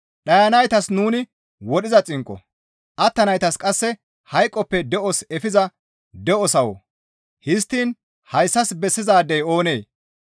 Dhayanaytas nuni wodhiza xinqqo; attanaytas qasse hayqoppe de7oso efiza de7o sawo; histtiin hayssas bessizaadey oonee?